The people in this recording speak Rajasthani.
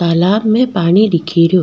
तालाब में पानी दिखे रियो।